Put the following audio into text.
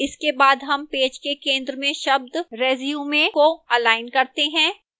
इसके बाद हम पेज के centre में शब्द resume को अलाइन करते हैं